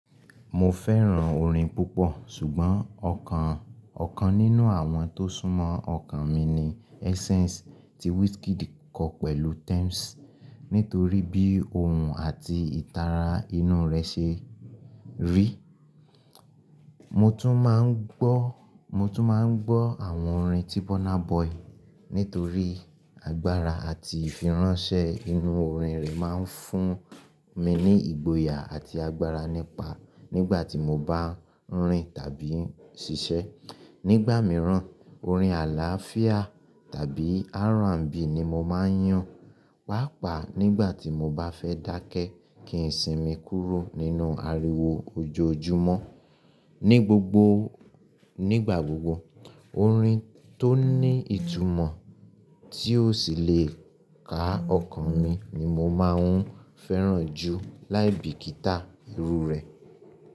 Mo fẹ́ràn orin púpọ̀, ṣùgbọ́n ọ̀kan ọ̀kan nínú àwọn tó sún mọ́ ọkàn mi ni Essence tí Wizkid kọ pẹ̀lú Tems, nítorí bí òun àti ìtara inú rẹ̀ ṣe rí. Mo tún máa ń gbọ́, mo tún máa ń gbọ́ àwọn orin tí Burna Boy, nítorí agbára àti ìfiránsẹ́ inú orin rẹ̀ máa ń fún mi ní ìgboyà àti agbára nípa nígbà tí mo bá ń rìn tàbí ń ṣiṣẹ́. Nígbà mìíràn, orin àlàáfíà tàbí R&B ni mo máa ń yàn, pàápàá nígbà tí mo bá fẹ́ dákẹ́ kí ń sinmi kúrò nínú ariwo ojoojúmọ́. Ni gbogbo, nígbà gbogbo, orin tó ní ìtumọ̀ tí ó sì le ká ọkàn mi ni mo máa ń fẹ́ràn jù láìbíkíta irú rẹ̀.